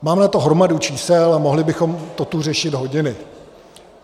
Máme na to hromadu čísel a mohli bychom to tu řešit hodiny.